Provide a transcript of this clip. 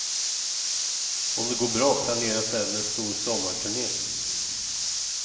Om det går bra planeras även en stor sommarturné.